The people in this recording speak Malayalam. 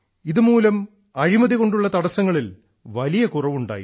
ഇതുമൂലം അഴിമതി കൊണ്ടുള്ള തടസ്സങ്ങളിൽ വലിയ കുറവുണ്ടായി